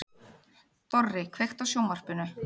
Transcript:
Dorri, kveiktu á sjónvarpinu.